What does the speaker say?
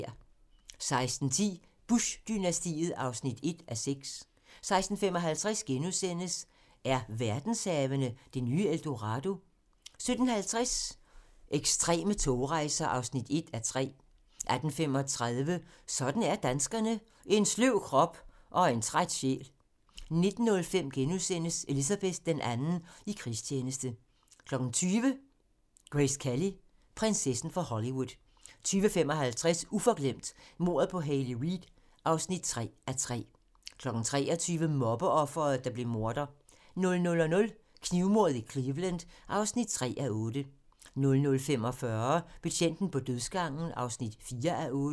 16:10: Bush-dynastiet (1:6) 16:55: Er verdenshavene det nye El Dorado? * 17:50: Ekstreme togrejser (1:3) 18:35: Sådan er danskerne: En sløv krop og en træt sjæl 19:05: Elizabeth II i krigstjeneste * 20:00: Grace Kelly: Prinsessen fra Hollywood 20:55: Uforglemt: Mordet på Hayley Reid (3:3) 23:00: Mobbeofret, der blev morder 00:00: Knivmordet i Cleveland (3:8) 00:45: Betjenten på dødsgangen (4:8)